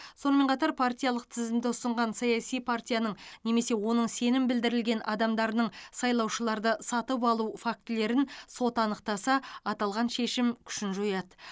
сонымен қатар партиялық тізімді ұсынған саяси партияның немесе оның сенім білдірілген адамдарының сайлаушыларды сатып алу фактілерін сот анықтаса аталған шешім күшін жояды